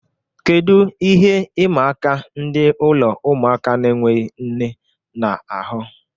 Kedu ihe ịma aka ndị ụlọ ụmụaka na-enweghị nne na-ahu?